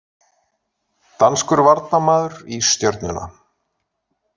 Danskur varnarmaður í Stjörnuna